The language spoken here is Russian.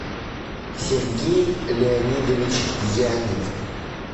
сергей леонидович янев